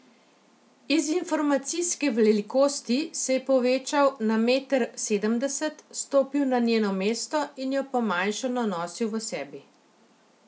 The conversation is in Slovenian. Iz informacijske velikosti se je povečal na meter sedemdeset, stopil na njeno mesto in jo pomanjšano nosi v sebi.